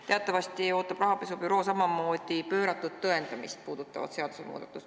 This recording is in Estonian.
Teatavasti ootab rahapesu andmebüroo samamoodi pööratud tõendamist puudutavat seadusmuudatust.